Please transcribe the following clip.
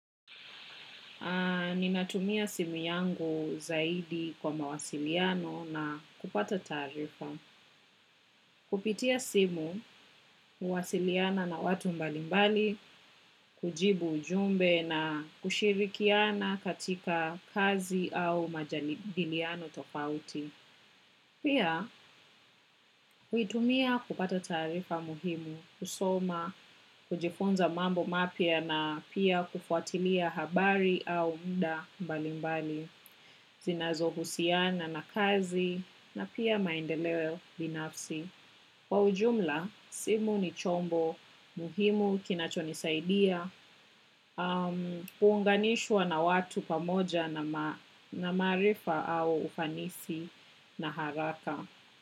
Ninatumia simu yangu zaidi kwa mawasiliano na kupata taarifa. Kupitia simu, huwasiliana na watu mbalimbali, kujibu ujumbe na kushirikiana katika kazi au majadiliano tofauti. Pia, huitumia kupata taarifa muhimu, kusoma, kujifunza mambo mapya na pia kufuatilia habari au muda mbalimbali. Zinazouhusiana na kazi na pia maendeleo binafsi. Kwa ujumla, simu ni chombo muhimu kinachonisaidia kuunganishwa na watu pamoja na maarifa au ufanisi na haraka.